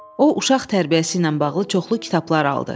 O uşaq tərbiyəsi ilə bağlı çoxlu kitablar aldı.